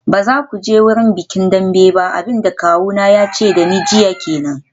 Ba za ku je bikin Dembe ba, abin da kawuna ya ce da ni jiya kenan.